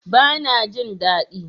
Bana jin dadi